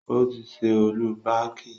Ó ti ṣe ọ́lú baàkì.